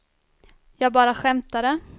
jag bara skämtade